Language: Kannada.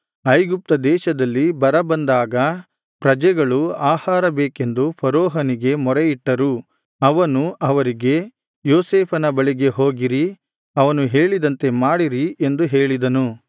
ಐಗುಪ್ತ ದೇಶದಲ್ಲಿ ಬರ ಬಂದಾಗ ಪ್ರಜೆಗಳು ಆಹಾರ ಬೇಕೆಂದು ಫರೋಹನಿಗೆ ಮೊರೆಯಿಟ್ಟರು ಅವನು ಅವರಿಗೆ ಯೋಸೇಫನ ಬಳಿಗೆ ಹೋಗಿರಿ ಅವನು ಹೇಳಿದಂತೆ ಮಾಡಿರಿ ಎಂದು ಹೇಳಿದನು